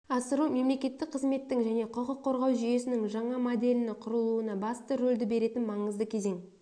асыру мемлекеттік қызметтің және құқық қорғау жүйесінің жаңа моделіні құрылуына басты ролді беретін маңызды кезең